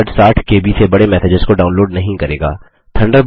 Thunderbird 60केबी से बड़े मैसेजेस को डाउनलोड नहीं करेगा